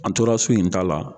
An tora so in ta la